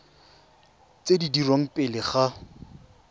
tse di dirwang pele ga